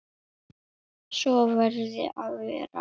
Svo verði að vera.